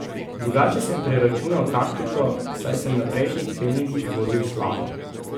Drugače sem preračunal taktiko, saj sem na prejšnjih treningih vozil slabo.